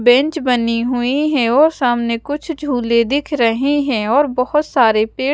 bench बनी हुई है और सामने कुछ झूले दिख रहे हैं और बहुत सारे पेड़--